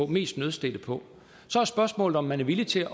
mest nødstedte på så er spørgsmålet om man er villig til